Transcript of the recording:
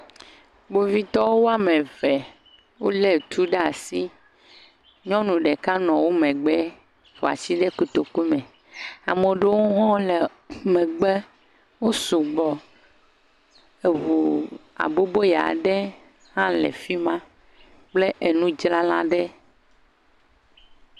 kpovitɔ woameve wóle tu ɖa'si nyɔnu ɖeka nɔ wó megbe ƒoasi ɖe kotoku me amaɖewo hɔ̃ le megbe wo sugbɔ eʋu aboboya ɖe hã le fima kple enudzrala ɖe